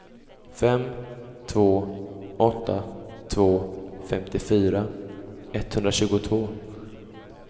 fem två åtta två femtiofyra etthundratjugotvå